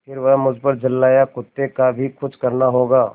फिर वह मुझ पर झल्लाया कुत्ते का भी कुछ करना होगा